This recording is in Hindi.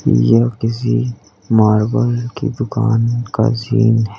यह किसी मार्बल की दुकान का सीन है।